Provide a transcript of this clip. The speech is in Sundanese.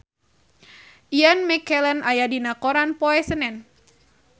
Ian McKellen aya dina koran poe Senen